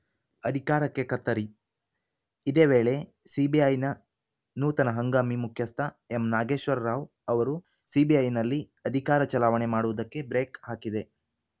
ಅಧಿಕಾರಕ್ಕೆ ಕತ್ತರಿ ಇದೇ ವೇಳೆ ಸಿಬಿಐನ ನೂತನ ಹಂಗಾಮಿ ಮುಖ್ಯಸ್ಥ ಎಂ ನಾಗೇಶ್ವರ ರಾವ್‌ ಅವರು ಸಿಬಿಐನಲ್ಲಿ ಅಧಿಕಾರ ಚಲಾವಣೆ ಮಾಡುವುದಕ್ಕೆ ಬ್ರೇಕ್‌ ಹಾಕಿದೆ